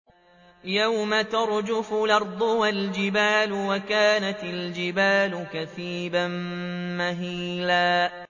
يَوْمَ تَرْجُفُ الْأَرْضُ وَالْجِبَالُ وَكَانَتِ الْجِبَالُ كَثِيبًا مَّهِيلًا